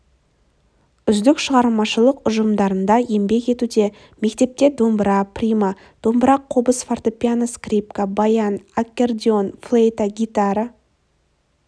үздік шығармашылық ұжымдарында еңбек етуде мектепте домбыра прима-домбыра қобыз фортепиано скрипка баян аккордеон флейта гитара